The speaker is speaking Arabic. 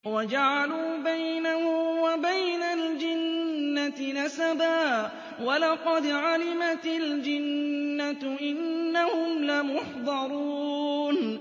وَجَعَلُوا بَيْنَهُ وَبَيْنَ الْجِنَّةِ نَسَبًا ۚ وَلَقَدْ عَلِمَتِ الْجِنَّةُ إِنَّهُمْ لَمُحْضَرُونَ